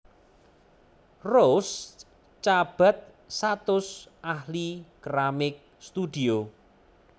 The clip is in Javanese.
Rose Cabat satus ahli keramik studio